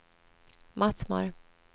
Mattmar